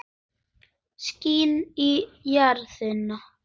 Skín í járnið.